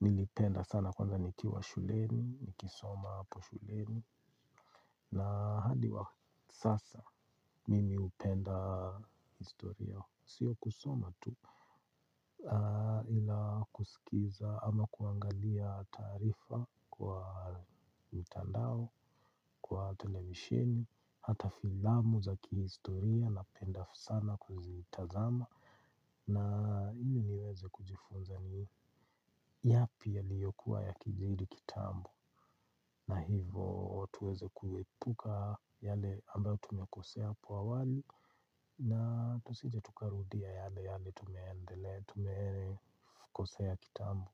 nilipenda sana kwanza nikiwa shuleni, nikisoma hapo shuleni. Na hadi wa sasa mimi hupenda historia, sio kusoma tu. Ila kusikiza ama kuangalia taarifa kwa mtandao, kwa televisheni. Hata filamu za kihistoria napenda sana kuzitazama. Na ili niweze kujifunza ni yapi yaliyokuwa yakijiri kitambo. Na hivo tuweze kuepuka yale ambayo tumekosea hapo awali. Na tusije tukarudia yale yale tumendele tume kosea kitambu.